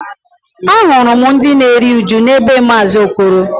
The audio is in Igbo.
Ahụrụ m ndị na-eru uju na be maazi Okoro